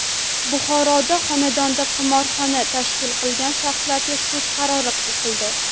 Buxoroda xonadonda qimorxona tashkil qilgan shaxslarga sud qarori o‘qildi.